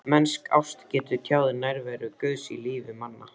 Mennsk ást getur tjáð nærveru Guðs í lífi manna.